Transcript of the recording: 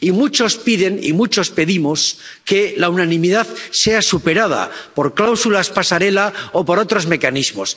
Y muchos piden, y muchos pedimos que la unanimidad sea superada por cláusulas pasarela o por otros mecanismos.